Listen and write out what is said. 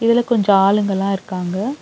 இதுல கொஞ்ச ஆளுங்க எல்லா இருக்காங்க.